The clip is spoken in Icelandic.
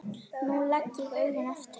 Nú legg ég augun aftur.